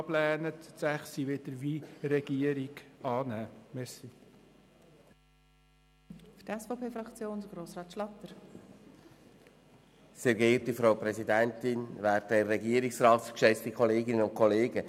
die Ziffer 5 sollte abgelehnt und die Ziffer 6 sollte, wie von der Regierung beantragt, angenommen werden.